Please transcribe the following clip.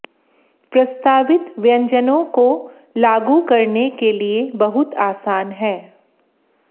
प्रस्तावित व्यंजनों को लागू करने के लिए बहुत आसान है